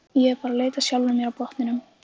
Ég er bara að leita að sjálfri mér á botninum.